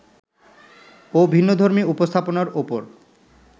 ও ভিন্নধর্মী উপস্থাপনার ওপর